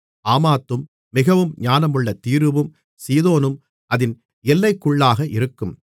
ஆமாத்தும் மிகவும் ஞானமுள்ள தீருவும் சீதோனும் அதின் எல்லைக்குள்ளாக இருக்கும்